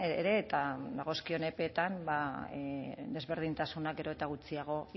ere eta dagozkion epeetan desberdintasunak gero eta gutxiago